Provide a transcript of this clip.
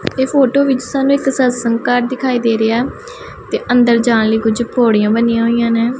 ਇਹ ਫੋਟੋ ਵਿੱਚ ਸਾਨੂੰ ਇੱਕ ਸਤਸੰਗ ਘੱਰ ਦਿਖਾਈ ਦੇ ਰਿਹਾ ਹੈ ਤੇ ਅੰਦਰ ਜਾਣ ਲਈ ਕੁੱਛ ਪੌੜੀਆਂ ਬਣਿਆਂ ਹੋਇਆਂ ਨੇਂ।